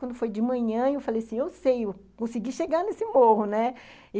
Quando foi de manhã, eu falei assim, eu sei, eu consegui chegar nesse morro, né.